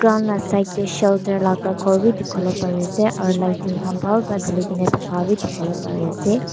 Ground laga side dae shelter laka kor bi dikipolae pari asae aro lighting khan bhal para talikina taka bi dikipolae pari asae.